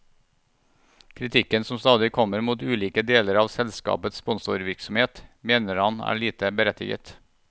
Kritikken som stadig kommer mot ulike deler av selskapets sponsevirksomhet, mener han er lite berettiget.